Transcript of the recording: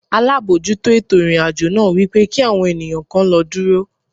Alábòójútó ètò ìrìn-àjò náà wípé kí àwọn ènìyàn kan lọ dúró.